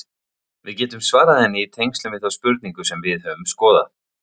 Við getum svarað henni í tengslum við þá spurningu sem við höfum skoðað.